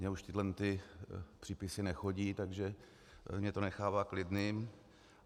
Mně už tyhle přípisy nechodí, takže mě to nechává klidným.